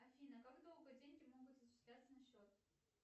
афина как долго деньги могут зачисляться на счет